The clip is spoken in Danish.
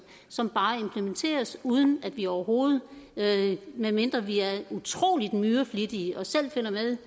som bare implementeres uden at vi overhovedet medmindre vi er utrolig myreflittige og selv følger med